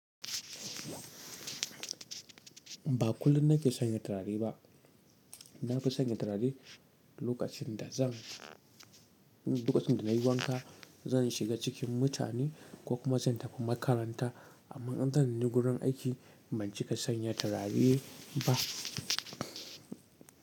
Ba kullum nake sanya turare ba. Na fi sanya turare lokacin da zan, lokacin da nayi wanka, zan shiga cikin mutane ko kuma zan tafi makaranta. Amma in zanni gurin aiki ban cika sanya turare ba.